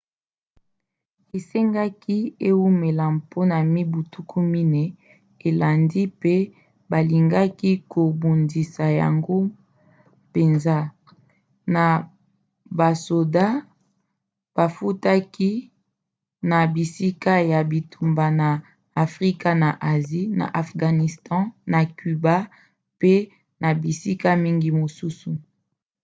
esengaki eumela mpona mibu 40 elandi pe balingaki kobundisa yango mpenza na basoda bafutaki na bisika ya bitumba na afrika na asie na afghanistan na cuba mpe na bisika mingi mosusu